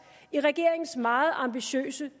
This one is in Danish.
i regeringens meget ambitiøse